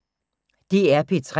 DR P3